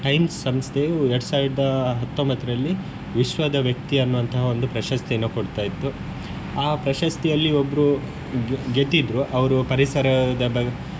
Times ಸಂಸ್ಥೆಯು ಎರಡ್ ಸಾವಿರದ ಹತ್ತೊಂಬತ್ತರಲ್ಲಿ ವಿಶ್ವದ ವ್ಯಕ್ತಿ ಅನ್ನುವಂತಹ ಒಂದು ಪ್ರಶಸ್ತಿಯನ್ನು ಕೊಡ್ತ ಇತ್ತು ಆ ಪ್ರಶಸ್ತಿಯಲ್ಲಿ ಒಬ್ರೂ ಗೆದ್ದಿದ್ರು ಅವರು ಪರಿಸರದ ಬ~.